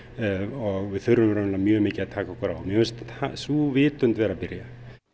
og við þurfum mjög mikið að taka okkur á mér finnst sú vitund vera að byrja